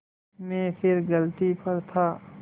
मैं फिर गलती पर था